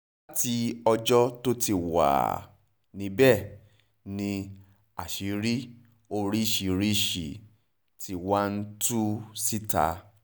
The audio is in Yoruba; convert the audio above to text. láti ọjọ́ tó ti wáá wà níbẹ̀ ni àṣírí oríṣiríṣiì ti wá ń tú síta